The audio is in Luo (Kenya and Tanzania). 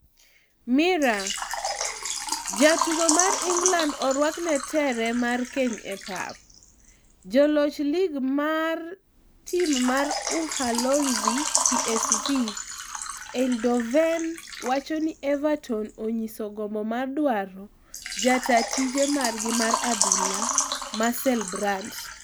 (Mirror) Ja tugo mar England orwakne tere mar keny e pap. Joloch lig mar tim mar Uholanzi PSV Eindhoven wacho ni Everton onyiso gombo mar dwaro ja taa tije margi mar adhula Marcel Brands.